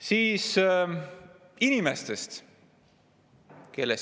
Nüüd inimestest.